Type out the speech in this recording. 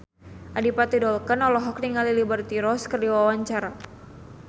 Adipati Dolken olohok ningali Liberty Ross keur diwawancara